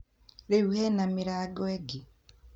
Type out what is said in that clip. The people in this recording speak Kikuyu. reu hena mirango ege?